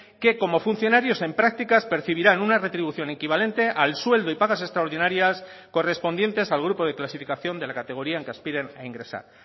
que como funcionarios en prácticas percibirán una retribución equivalente al sueldo y pagas extraordinarias correspondientes al grupo de clasificación de la categoría en que aspiren a ingresar